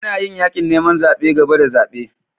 Ana yin yakin neman zabe gaba da zabe.